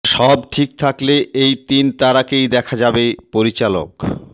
সব ঠিক থাকলে এই তিন তারাকেই দেখা যাবে পরিচালক